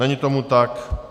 Není tomu tak.